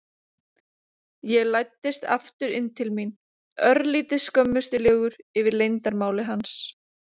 Ég læddist aftur inn til mín, örlítið skömmustulegur yfir leyndarmáli hans.